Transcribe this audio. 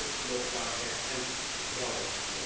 Het gaat over geloofwaardigheid en vertrouwen.